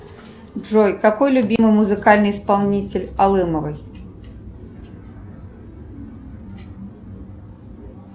джой какой любимый музыкальный исполнитель алымовой